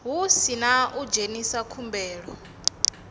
hu sina u dzhenisa khumbelo